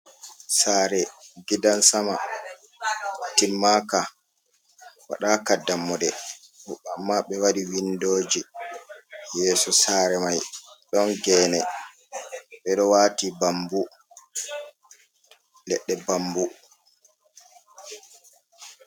Sare gidansama timmaka, waɗaka dammuɗe, amma ɓe waɗi windoji yeso sare mai ɗon gene ɓeɗo wati bambu leɗɗe bambu.